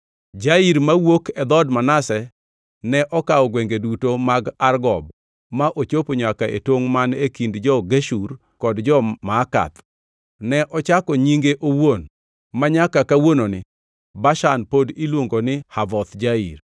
Jair mawuok e dhood Manase ne okawo gwenge duto mag Argob ma ochopo nyaka e tongʼ man e kind jo-Geshur kod jo-Maakath; ne ochake nyinge owuon, manyaka kawuononi Bashan pod iluongo ni Havoth Jair.)